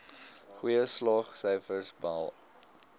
goeie slaagsyfers behaal